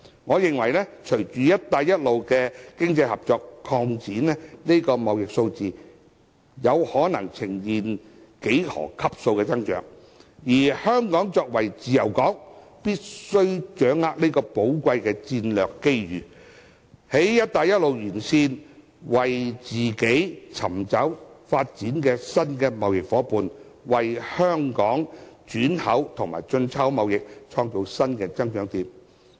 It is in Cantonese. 我認為隨着"一帶一路"的經濟合作擴展，這個貿易數字有可能呈現幾何級數的增長，而香港作為自由港，必須掌握這個寶貴的戰略機遇，在"一帶一路"沿線為自己尋找新的貿易發展夥伴，為香港轉口和進出口貿易創造新的增長點。